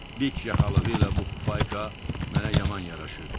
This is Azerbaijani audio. Dik yaxalığı ilə bu fufayka mənə yaman yaraşırdı.